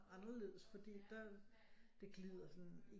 Anderledes fordi der det glider sådan